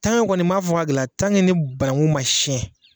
kɔni m'a fɔ ka gɛlɛya ni banakun ma siyɛn